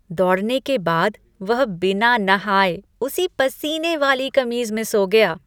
दौड़ने के बाद वह बिना नहाए उसी पसीने वाली कमीज में सो गया।